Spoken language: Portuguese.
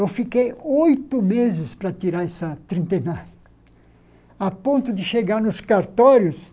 Eu fiquei oito meses para tirar essa trintenária, a ponto de chegar nos cartórios